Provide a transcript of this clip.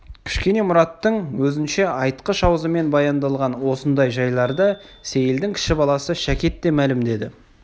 кішкене мұраттың өзінше айтқыш аузымен баяндалған осындай жайларды сейілдің кіші баласы шәкет те мәлімдеді